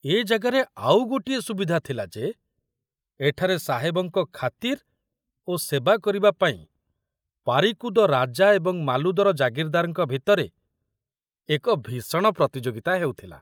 ଏ ଜାଗାରେ ଆଉ ଗୋଟିଏ ସୁବିଧା ଥିଲା ଯେ ଏଠାରେ ସାହେବଙ୍କ ଖାତିର ଓ ସେବା କରିବା ପାଇଁ ପାରିକୁଦ ରାଜା ଏବଂ ମାଲୁଦର ଜାଗିରଦାରଙ୍କ ଭିତରେ ଏକ ଭୀଷଣ ପ୍ରତିଯୋଗିତା ହେଉଥିଲା।